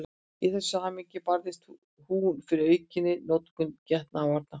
Í þessu samhengi barðist hún fyrir aukinni notkun getnaðarvarna.